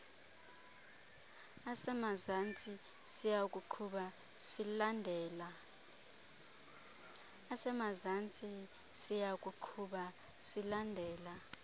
asemazantsi siyakuqhuba silandela